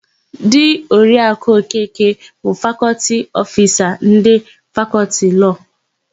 Di Oriaku Okeke bụ Fakọltị Ofisa ndị Fakọltị Lọọ.